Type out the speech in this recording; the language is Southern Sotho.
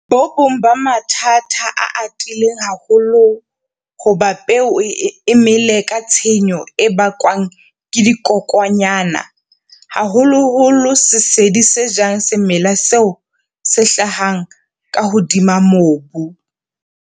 Bo bong ba mathata a atileng haholo hoba peo e mele ke tshenyo e bakwang ke dikokwanyana - haholoholo sesedi se jang semela moo se hlahang ka hodima mobu.